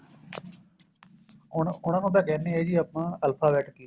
ਉਹਨਾ ਉਹਨਾ ਨੂੰ ਤਾਂ ਕਹਿਨੇ ਆ ਜੀ ਆਪਾਂ alphabet key